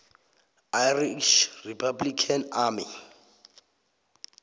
irish republican army